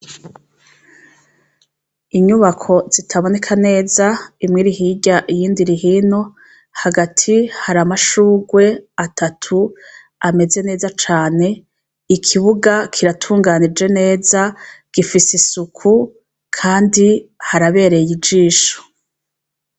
Inyubako zitaboneka neza, imwe iri hirya, iyindi iri hino hagati haramashurwe atatu ameze neza cane. Ikibuga kiratunganije neza gifise isuku Kandi harabereye ijisho.